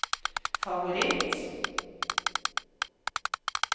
favoritt